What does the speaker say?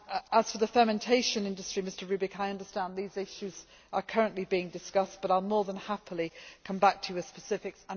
As for the fermentation industry, Mr Rübig, I understand these issues are currently being discussed, but I will be more than happy to come back to you with specifics.